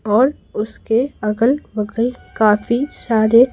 और उसके अगल बगल काफी सारे--